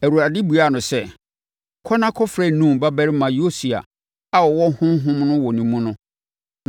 Awurade buaa no sɛ, “Kɔ na kɔfrɛ Nun babarima Yosua a ɔwɔ Honhom no wɔ ne mu no,